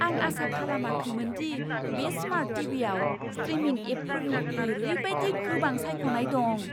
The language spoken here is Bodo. आं आसा खालामाखैमोन दि बे स्मार्ट टीवीआव स्ट्रीमिंग एपफोरनि ओरैबायदि गोबां सायख'नाय दं!